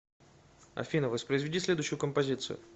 афина воспроизведи следующую композицию